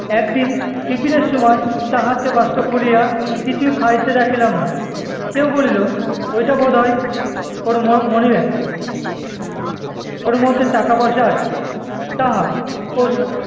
একদিন tiffin এর সময় তাহাকে বাস্ক খুলিয়া কিছু খাইতে দেখিলাম না। কেহ বলিল, ওইটা বোধ হয় ওর ম~ মনি bag । ওর মধ্যে টাকা পয়সা আছে, তাহা